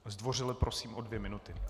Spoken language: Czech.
Zdvořile prosím o dvě minuty.